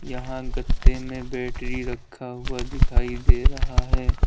यहां गेतते में बैटरी रखा हुआ दिखाई दे रहा है।